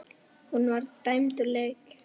Hún var dæmd úr leik.